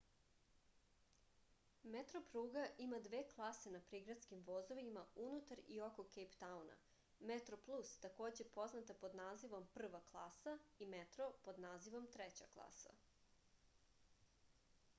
метропруга има две класе на приградским возовима унутар и око кејптауна: метроплус такође позната под називом прва класа и метро под називом трећа класа